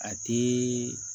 A ti